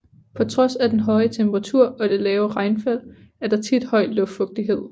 På trods af den høje temperatur og det lave regnfald er der tit høj luftfugtighed